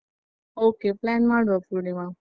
Okay plan ಮಾಡುವ ಪೂರ್ಣಿಮಾ.